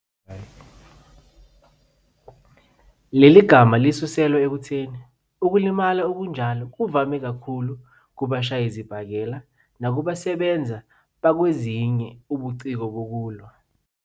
Leli gama lisuselwa ekutheni ukulimala okunjalo kuvame kakhulu kubashayisibhakela nakubasebenza bakwezinye ubuciko bokulwa.